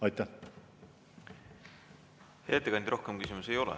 Hea ettekandja, rohkem küsimusi ei ole.